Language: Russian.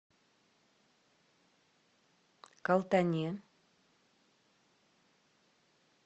калтане